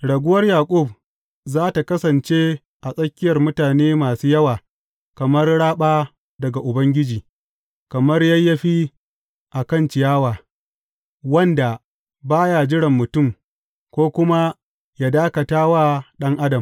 Raguwar Yaƙub za tă kasance a tsakiyar mutane masu yawa kamar raɓa daga Ubangiji, kamar yayyafi a kan ciyawa, wanda ba ya jiran mutum ko kuma yă dakata wa ɗan adam.